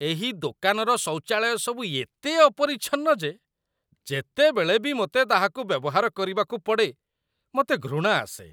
ଏହି ଦୋକାନର ଶୌଚାଳୟସବୁ ଏତେ ଅପରିଚ୍ଛନ୍ନ ଯେ ଯେତେବେଳେ ବି ମୋତେ ତାହାକୁ ବ୍ୟବହାର କରିବାକୁ ପଡ଼େ, ମୋତେ ଘୃଣା ଆସେ।